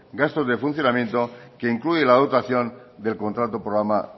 gastos de funcionamiento que incluye la dotación del contrato programa